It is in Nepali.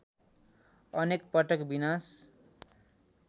अनेक पटक विनाश